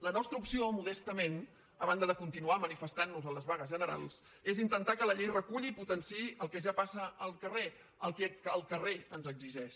la nostra opció modestament a banda de continuar manifestantnos en les vagues generals és intentar que la llei reculli i potenciï el que ja passa al carrer el que el carrer ens exigeix